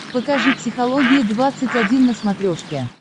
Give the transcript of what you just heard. покажи психология двадцать один на смотрешке